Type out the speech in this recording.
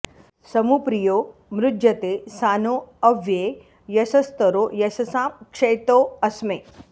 समु प्रियो मृज्यते सानो अव्ये यशस्तरो यशसां क्षैतो अस्मे